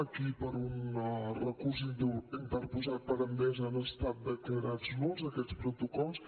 aquí per un recurs interposat per endesa han estat declarats nuls aquests protocols